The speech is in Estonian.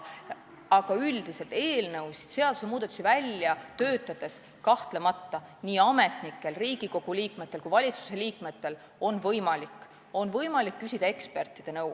Aga üldiselt on eelnõusid, seadusmuudatusi välja töötades kahtlemata ametnikel ja nii Riigikogu kui ka valitsuse liikmetel võimalik küsida ekspertide nõu.